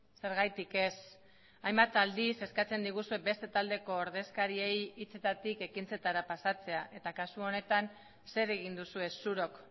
zergatik ez hainbat aldiz eskatzen diguzue beste taldeko ordezkariei hitzetatik ekintzetara pasatzea eta kasu honetan zer egin duzue zurok